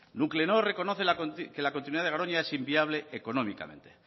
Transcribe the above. nuclenor reconoce que la continuidad de garoña es inviable económicamente